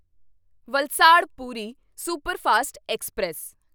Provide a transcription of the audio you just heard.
Valsad Puri superfast express